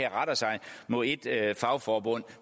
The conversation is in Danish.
retter sig mod ét fagforbund